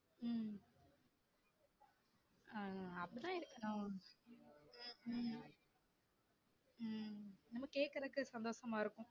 உம் அஹ் அப்டிதான் இருக்கணும் உம் உம் நல்லா கேக்குறதுக்கு சந்தோசமா இருக்கும்